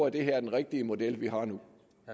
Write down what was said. at det er den rigtige model vi har nu